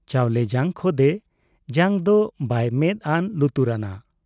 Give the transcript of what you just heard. ᱪᱟᱣᱞᱮ ᱡᱟᱜ ᱠᱷᱚᱫᱮ ᱡᱟᱝ ᱫᱚ ᱵᱟᱭ ᱢᱮᱫ ᱟᱱ ᱞᱩᱛᱩᱨᱟᱱᱟ ᱾